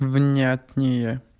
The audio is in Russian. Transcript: внятнее